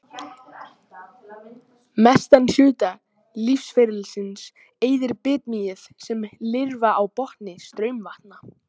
Mestan hluta lífsferilsins eyðir bitmýið sem lirfa á botni straumvatna.